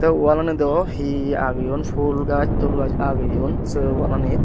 oh walanido hi hi ageyon pul gaaj tul gaaj ageyon sei walanit.